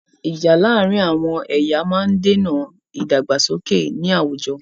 Ìjà láàrin àwọn ẹ̀yà máa ń dèna ìdàgbàsókè ní àwùjọ.